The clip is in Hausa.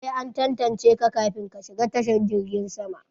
Sai an tantance ka kafin ka shiga tashan girgin sama.